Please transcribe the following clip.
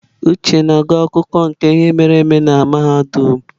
Uche na-agụ akụkọ ihe mere eme na mahadum.